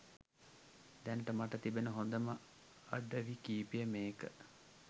දැනට මට තිබෙන හොඳම අඩවි කීපය මේක.